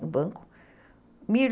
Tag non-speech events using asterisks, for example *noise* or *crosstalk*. no banco *unintelligible*